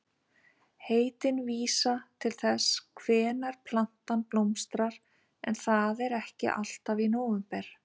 Heitin vísa til þess hvenær plantan blómstrar en það er ekki alltaf í nóvember.